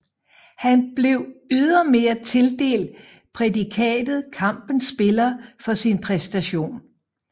Han blev ydermere tildelt prædikatet kampens spiller for sin præstation